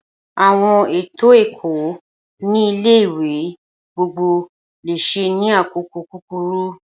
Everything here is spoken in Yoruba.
Awọn eto ẹkọ ni ile ìwé gbogbo lésè ni akoko kukuru